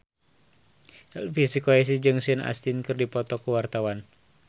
Elvi Sukaesih jeung Sean Astin keur dipoto ku wartawan